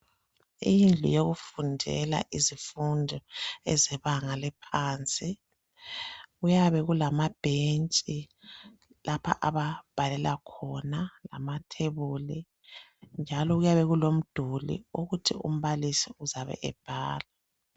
Indlu yokufundela izifundo ezebanga eliphansi. Kuyabe kulamabhentshi lapha ababhalela khona lamathebuli njalo kuyabe kulomduli ukuthi umbalisi uzabe ebhala.